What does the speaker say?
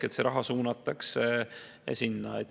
See raha suunatakse sinna.